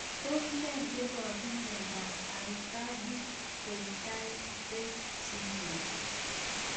Tos nee neparu miondop Aicardi Goutieres syndrome